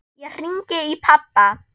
Ég hringi í pabba.